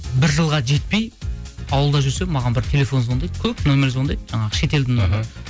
бір жылға жетпей ауылда жүрсем маған бір телефон звондайды көп нөмір звондайды жаңағы шетелдің нөмірі іхі